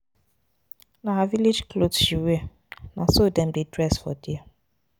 Na her village cloth she wear. Na so dem dey dress for there.